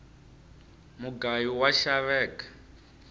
mugayu wa xaveka